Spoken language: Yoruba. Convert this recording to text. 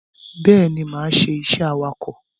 Bẹ́ẹ̀ni, máa ṣe iṣẹ́ awakọ̀.